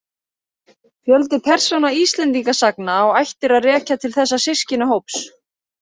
Fjöldi persóna Íslendingasagna á ættir að rekja til þessa systkinahóps.